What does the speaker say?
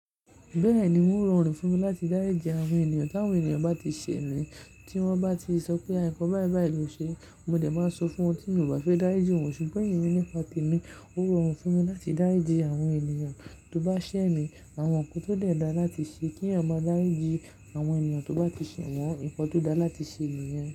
Bẹ́ẹ̀ni, n ó rọrùn fún mi láti dári ìjì àwọn ènìyàn. Tí àwọn ènìyàn bá ti ṣẹ̀ mí, tí wọ́n bá ti sọ pé "àìnkọ̀ báì báì ló ṣe", mo dẹ̀ máa sọ fún wọn tí ń ò bá fẹ́ dáriji wọ́n. Ṣùgbọ́n èmi nípa tèmi, ó rọrùn fún mi láti dári ìjì àwọn ènìyàn. Tó bá ṣẹ̀ mí, awọn nkan tó dẹ̀ dáa láti ṣe kí èèyàn mọ dáriji àwọn ènìyàn tó bá ti ṣẹ̀ wọ́n, nǹkan tó dáa láti ṣe nìyàn.